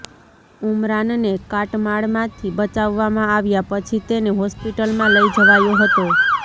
ઉમરાનને કાટમાળમાંથી બચાવવામાં આવ્યા પછી તેને હોસ્પિટલમાં લઈ જવાયો હતો